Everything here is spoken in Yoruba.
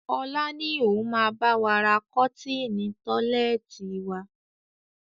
Ọlá ni òun máa bawa ra kọ́tinni tọ́lẹ́ẹ́tì wa.